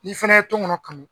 N'i fana ye tɔnkɔnɔn kanu